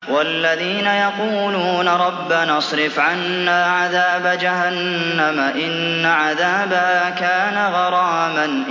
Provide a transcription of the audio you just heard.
وَالَّذِينَ يَقُولُونَ رَبَّنَا اصْرِفْ عَنَّا عَذَابَ جَهَنَّمَ ۖ إِنَّ عَذَابَهَا كَانَ غَرَامًا